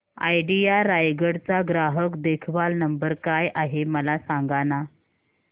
idea Raigad चा ग्राहक देखभाल नंबर काय आहे मला सांगाना